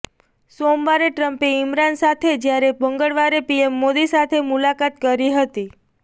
સોમવારે ટ્રમ્પે ઈમરાન સાથે જ્યારે મંગળવારે પીએમ મોદી સાથે મુલાકાત કરી હતી